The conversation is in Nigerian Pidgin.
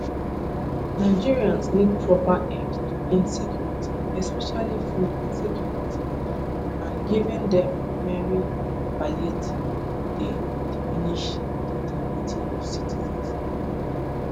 nigerians need proper end to insecurity especially food insecurity an giving dem mere palliative dey diminish di dignity of citizens im add